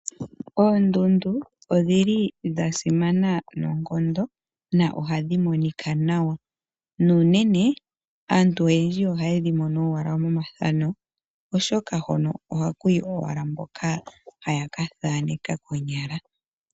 Oondundu odhili dha simana noonkondo na ohadhi monika nawa, nuunene aantu oyendji oha yedhi mono owala momathano oshoka hono ohakuyi owala mboka haya ka thaaneka konyala.